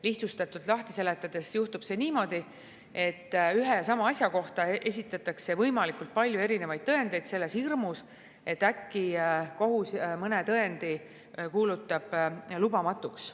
Lihtsustatult lahti seletades juhtub see niimoodi, et ühe ja sama asja kohta esitatakse võimalikult palju erinevaid tõendeid selles hirmus, et äkki kohus mõne tõendi kuulutab lubamatuks.